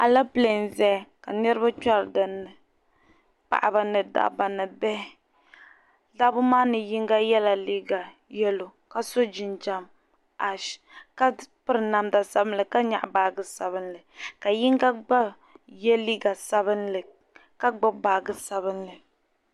Alapile n zaya ka niriba kpɛri din ni paɣaba ni dabba ni bihi dabba maa ni yinga yɛla liiga yɛllo ka so jinjam ash ka piri namda sabinli ka nyaaɣi baaji sabinli ka yinga gba yɛ liiga sabinli ka gbubi baaji sabinli